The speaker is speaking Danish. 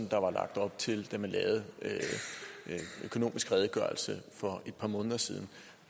der var lagt op til da man lavede økonomisk redegørelse for et par måneder siden